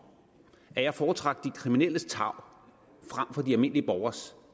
at jeg foretrak de kriminelles tarv frem for de almindelige borgeres